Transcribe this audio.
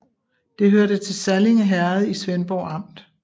Det hørte til Sallinge Herred i Svendborg Amt